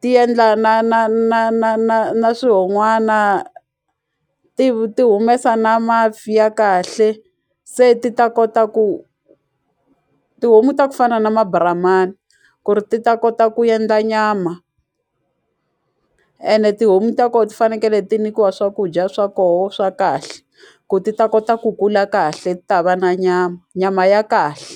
ti endla na na na na na na swihon'wana ti ti humesa na a mafi ya kahle se ti ta kota ku tihomu ta ku fana na ma-brahman ku ri ti ta kota ku endla nyama ene tihomu ta ko ti fanekele ti nikiwa swakudya swa koho swa kahle ku ti ta kota ku kula kahle ti ta va na nyama, nyama ya kahle.